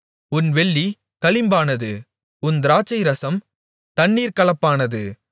உன் வெள்ளி களிம்பானது உன் திராட்சைரசம் தண்ணீர்க்கலப்பானது